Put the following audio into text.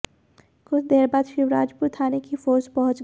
कछ देर बाद शिवराजपुर थाने की फोर्स पहुंच गई